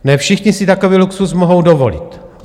Ne všichni si takový luxus mohou dovolit.